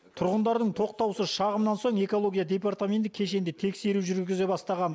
тұрғындардың тоқтаусыз шағымынан соң экология департаменті кешенді тексеру жүргізе бастаған